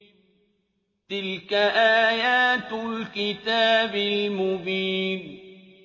تِلْكَ آيَاتُ الْكِتَابِ الْمُبِينِ